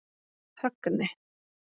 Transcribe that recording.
Högni